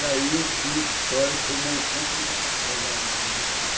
E daí eu fiz História como complementação da da Filosofia.